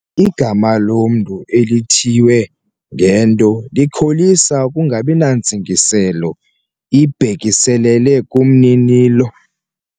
Igama lomntu elithiywe ngento likholisa ukungabi nantsingiselo ibhekiselele kumninilo.